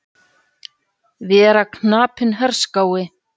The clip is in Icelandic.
Vera knapinn herskái.